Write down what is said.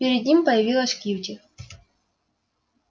перед ним появилась кьюти